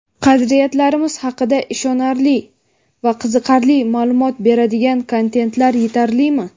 qadriyatlarimiz haqida ishonarli va qiziqarli maʼlumot beradigan kontentlar yetarlimi?.